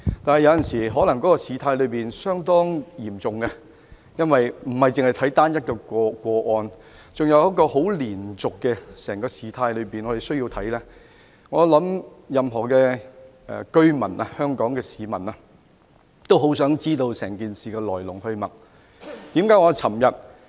然而，有時候，事態可以相當嚴重，因為我們並非只看單一個案，還要視乎整個事態的連續發展，我相信任何香港市民也很想知道整件事情的來龍去脈。